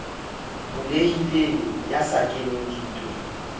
bulehileng ya sa keneng dintweng